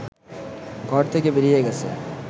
ঘর থেকে বেরিয়ে গেছে